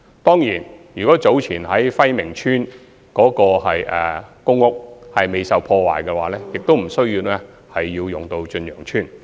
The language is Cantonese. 當然，如果暉明邨早前未受破壞，亦不需要使用駿洋邨。